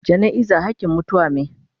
Jana'iza hakin mutuwa me.